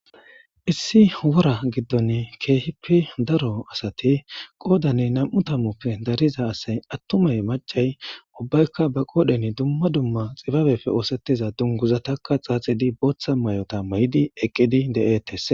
Issi wora giddon keehi daro asati qoodan nam7u tammuppe dariza asay attumay maccay ubbayka ba qoodhen dumma dumma xibabeppe oosettiza dunguzata xaaxidi booththa mayota mayidi eqqidi de7ettes.